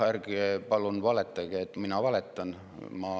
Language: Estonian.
Ärge palun valetage, et mina valetan!